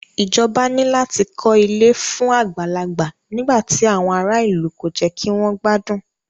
Ìjọba ní láti kọ ilé fún àgbàlagbà nígbà tí àwọn ará ìlú kò jẹ́ kí wọ́n gbádùn.